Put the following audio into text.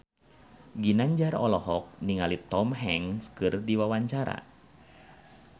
Ginanjar olohok ningali Tom Hanks keur diwawancara